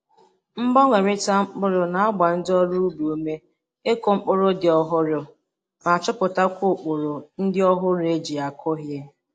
Mgbanwerita mkpụrụ na-agba ndi ọrụ ubi ume ikụ mpụrụ ndị ọhụrụ ma chọpụtakwa ụkpụrụ ndị ọhụrụ e ji akọ ihe.